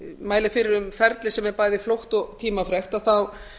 mæli fyrir um ferli sem er bæði flókið og tímafrekt að þá